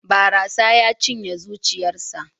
Barasa ya cinye zuciyarsa.